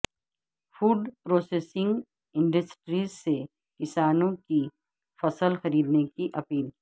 food processing انڈسٹریزسے کسانوں کی فصل خریدنے کی اپیل